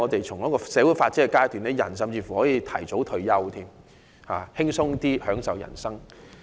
從社會發展的階段來看，人們甚至可以提早退休，輕鬆享受人生。